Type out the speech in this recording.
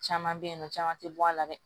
Caman bɛ yen nɔ caman tɛ bɔ a la dɛ